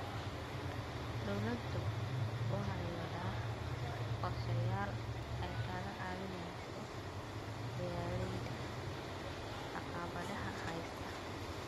Dawladdu waxay waddaa qorshayaal ay kaga caawinayso beeralayda caqabadaha haysta.